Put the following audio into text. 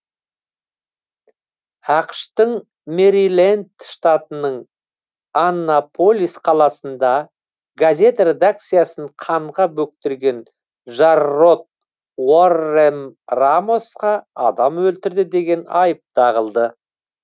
ақш тың мэриленд штатының аннаполис қаласында газет редакциясын қанға бөктірген джаррод уоррен рамосқа адам өлтірді деген айып тағылды